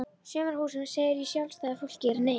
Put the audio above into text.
Sumarhúsum segir í Sjálfstæðu fólki er Nei!